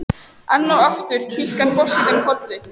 Enn og aftur kinkar forsetinn kolli.